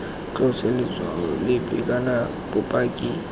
tlose letshwao lepe kana bopaki